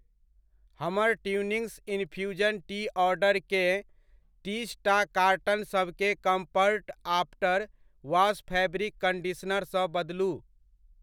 हमर Twinings infusion tea ऑर्डरके तीसटा कार्टनसभकेँ कम्फर्ट आफ्टर वॉश फैब्रिक कन्डीशनरसँ बदलू।